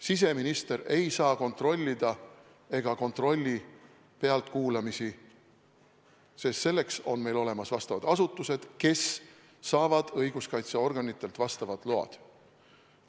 Siseminister ei saa kontrollida ega kontrolli pealtkuulamisi, sest selleks on meil olemas vastavad asutused, mis saavad õiguskaitseorganitelt vastavad load.